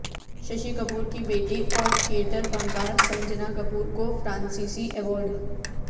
ششی کپور کی بیٹی اور تھیٹر فنکار سنجنا کپور کو فرانسیسی ایوارڈ